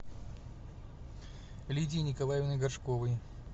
лидией николаевной горшковой